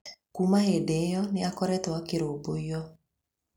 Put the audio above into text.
Kuuma hĩndĩ ĩyo nĩ akoretwo akĩrũmbũiyo.